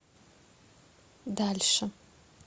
дальше